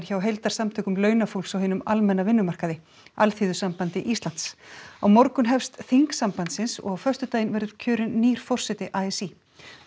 hjá heildarsamtökum launafólks á hinum almenna vinnumarkaði Alþýðusambandi Íslands á morgun hefst þing sambandsins og á föstudaginn verður kjörinn nýr forseti a s í